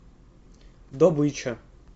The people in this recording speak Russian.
добыча